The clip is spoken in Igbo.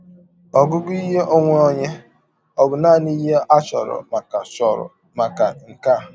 Ọgụgụ ihe ọnwe ọnye ọ̀ bụ nanị ihe a chọrọ maka chọrọ maka nke a?